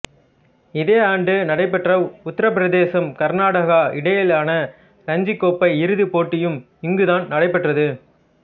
இதே ஆண்டு நடைபெற்ற உத்திரப்பிரதேசம் கர்நாடகா இடையிலான இரஞ்சிக் கோப்பை இறுதி போட்டியும் இங்குதான் நடைபெற்றது